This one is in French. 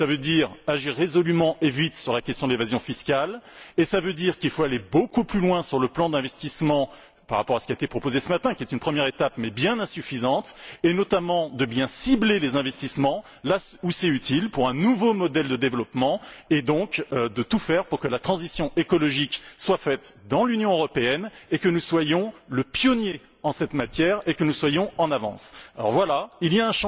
Cela veut dire agir résolument et vite sur la question de l'évasion fiscale et cela signifie qu'il faut aller beaucoup plus loin sur le plan de l'investissement par rapport à la proposition de ce matin, qui est une première étape mais bien insuffisante. Il faut notamment bien cibler les investissements là où c'est utile pour un nouveau modèle de développement et donc tout mettre en œuvre pour que la transition écologique se fasse dans l'Union européenne afin que nous soyons les pionniers en cette matière et que nous soyons en avance. Voilà, il faut